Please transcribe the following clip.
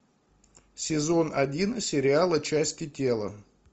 сезон один сериала части тела